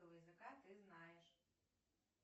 языка ты знаешь